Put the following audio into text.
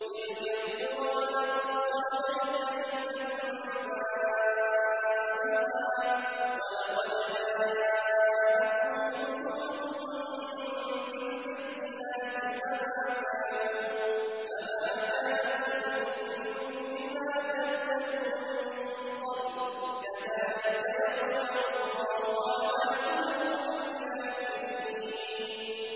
تِلْكَ الْقُرَىٰ نَقُصُّ عَلَيْكَ مِنْ أَنبَائِهَا ۚ وَلَقَدْ جَاءَتْهُمْ رُسُلُهُم بِالْبَيِّنَاتِ فَمَا كَانُوا لِيُؤْمِنُوا بِمَا كَذَّبُوا مِن قَبْلُ ۚ كَذَٰلِكَ يَطْبَعُ اللَّهُ عَلَىٰ قُلُوبِ الْكَافِرِينَ